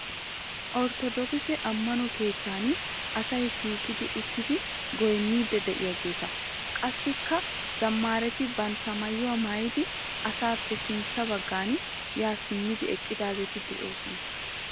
Ortodoogise ammano keettan asay shiiqi uttidi goyinniiddi diyaageeta. Qassikka zammaareti bantta mayyuwa mayyidi asaappe sintta baggan yaa simmidi eqqidaageeti doosona.